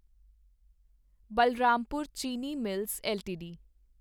Balrampur Chini mills LTD